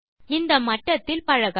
இந்த மட்டத்தில் பழகவும்